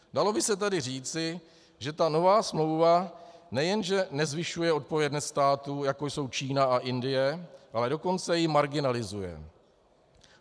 Dalo by se tedy říci, že ta nová smlouva nejenže nezvyšuje odpovědnost států, jako jsou Čína a Indie, ale dokonce ji marginalizuje.